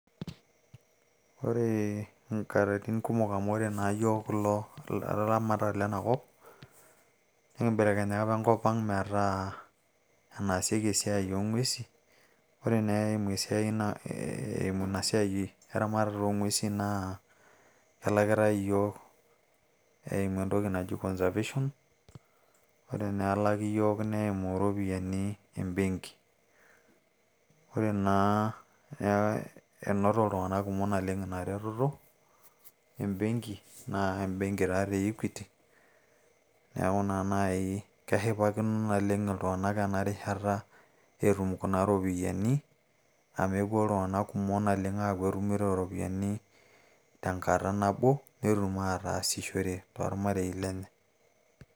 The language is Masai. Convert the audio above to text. Ore nkaratik kumok amu ore naa yiok ilaramatak lena kop, nikimbelekenya enkop ang metaa enaasieki esiai oo ng`uesin. Ore naa eimu ina siai eramatata oo ng`uesin naa kelakitai iyiok eimu entoki naji conservation. Ore naa elaki iyiok neimu irropiyiani e benki. Ore naa ee enoto iltung`anak kumok naleng ina retoto e benki naa ebenki taa doi e Equity naa eshipakino naleng iltung`anak ena rishata etum kuna ropiyiani. Amu epuo naleng iltung`anak kumok aaku etumito irropiyiani te nkata nabo netum aasishore too ilmarei lenye.